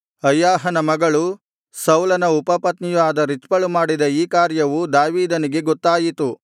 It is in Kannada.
ಅಯ್ಯಾಹನ ಮಗಳೂ ಸೌಲನ ಉಪಪತ್ನಿಯೂ ಆದ ರಿಚ್ಪಳು ಮಾಡಿದ ಈ ಕಾರ್ಯವು ದಾವೀದನಿಗೆ ಗೊತ್ತಾಯಿತು